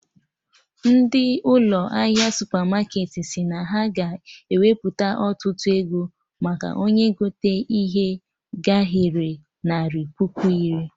Ndị ụlọ ahịa supermarketị si na ha ga ewepu ọtụtụ ego ma onye gote ike gahere narị puku iri